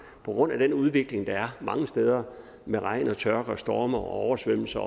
på grund af den udvikling der er mange steder med regn tørke storme og oversvømmelser